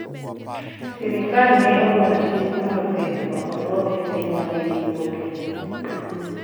sirikal ne ogolo chik mondo pith go odwok e piny mane giwuoke